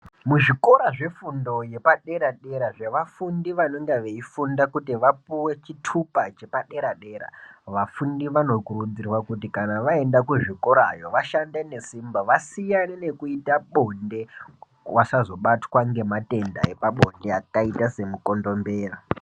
Mu zvikora zve fundo yepa dera dera zve vafundi vanonga vei funda kuti vapuwe chitupa chepa dera dera vafundi vano kurudzirwa kuti kana vaenda ku zvikorayo vashande ne simba vasiyane nekuita bonde vasazo batwa nge matenda epa bonde akaita se mu kondombera.